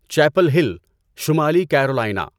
Chappell Hill, شمالی Carolina